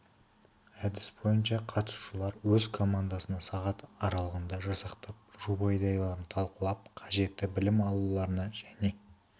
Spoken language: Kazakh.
әдіс бойынша қатысушылар өз командасын сағат аралығында жасақтап жоба идеяларын талқылап қажетті білім алуларына және